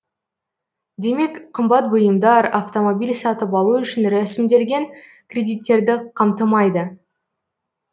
демек қымбат бұйымдар автомобиль сатып алу үшін рәсімделген кредиттерді қамтымайды